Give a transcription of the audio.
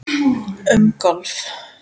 Um golf